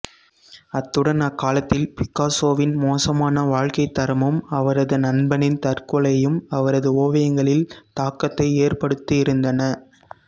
அத்துடன் அக்காலத்தில் பிக்காசோவின் மோசமான வாழ்க்கைத்தரமும் அவரது நண்பனின் தற்கொலையும் அவரது ஓவியங்களில் தாக்கத்தை ஏற்படுத்தியிருந்தன